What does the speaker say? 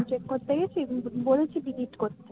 ও check করতে গেছি কিন্তু বলেছি delete করতে হুম delete করতে